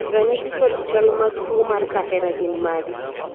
ranyisi kod chal mag tuo mar kahera gin mage?